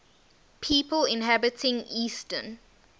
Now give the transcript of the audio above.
people inhabiting eastern